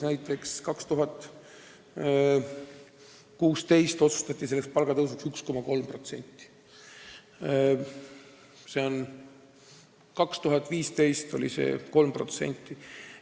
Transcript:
Näiteks aastal 2016 otsustati palka tõsta 1,3%, aastal 2015 oli see näitaja 3%.